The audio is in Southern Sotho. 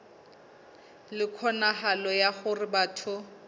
le kgonahalo ya hore batho